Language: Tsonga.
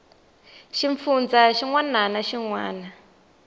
xifundzha xin wana na xin